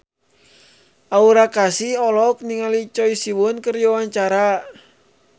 Aura Kasih olohok ningali Choi Siwon keur diwawancara